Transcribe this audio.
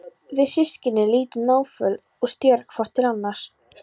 Við systkinin lítum náföl og stjörf hvort til annars.